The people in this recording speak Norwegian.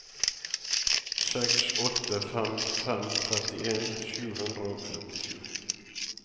seks åtte fem fem trettien sju hundre og femtisju